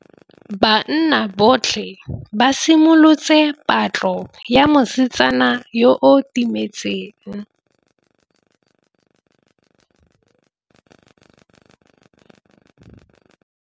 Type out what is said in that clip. Banna botlhê ba simolotse patlô ya mosetsana yo o timetseng.